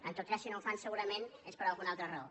en tot cas si no ho fan segurament és per alguna altra raó